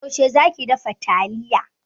Yaushe za ki dafa taliyar?